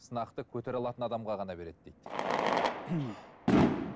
сынақты көтере алатын адамға ғана береді дейді